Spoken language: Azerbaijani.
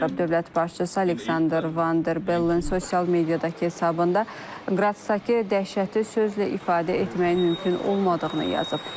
Dövlət başçısı Aleksandr Van Der Bellen sosial mediadakı hesabında Qrasdakı dəhşəti sözlə ifadə etməyin mümkün olmadığını yazıb.